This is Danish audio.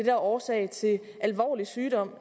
er årsag til alvorlig sygdom